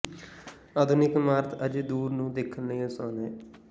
ਆਧੁਨਿਕ ਇਮਾਰਤ ਅਜੇ ਦੂਰ ਨੂੰ ਦੇਖਣ ਲਈ ਆਸਾਨ ਹੈ